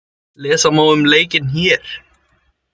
Lesa má um leikinn hér.